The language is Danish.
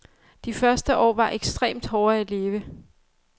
De første år var ekstremt hårde at leve.